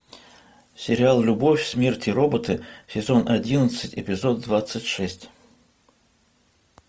сериал любовь смерть и роботы сезон одиннадцать эпизод двадцать шесть